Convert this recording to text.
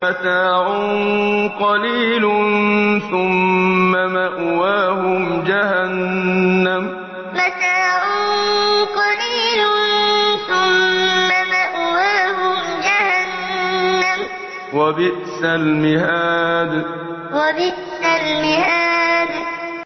مَتَاعٌ قَلِيلٌ ثُمَّ مَأْوَاهُمْ جَهَنَّمُ ۚ وَبِئْسَ الْمِهَادُ مَتَاعٌ قَلِيلٌ ثُمَّ مَأْوَاهُمْ جَهَنَّمُ ۚ وَبِئْسَ الْمِهَادُ